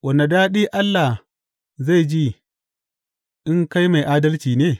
Wane daɗi Allah zai ji in kai mai adalci ne?